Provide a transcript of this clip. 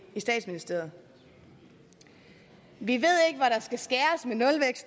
i statsministeriet vi